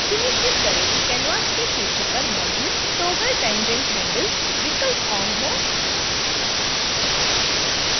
सुनिश्चित करें कि कैनवास के शीर्ष पर मौजूद toggle tangent handles विकल्प on हो